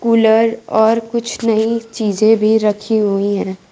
Cooler और कुछ नई चीजें भी रखी हुई हैं।